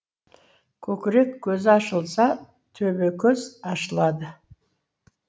көкірек көзі ашылса төбекөз ашылады